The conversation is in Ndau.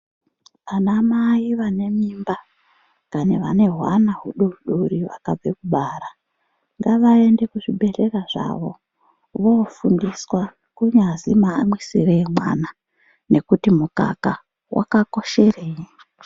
Anamai vane mimba dani vene hwana hudodori vakabve kubara. Ngavaende kuzvibhedhlera zvavo vofundiswa kunyazwi maamwisire emwana nekuti mukaka vakakoshereyi.